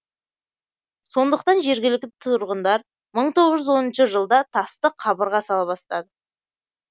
сондықтан жергілікті тұрғындар мың тоғыз жүз оныншы жылда тасты қабырға сала бастады